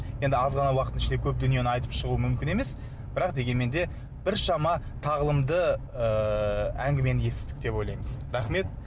енді аз ғана уақыттың ішінде көп дүниені айтып шығу мүмкін емес бірақ дегенмен де біршама тағылымды ыыы әңгімені естідік деп ойлаймыз рахмет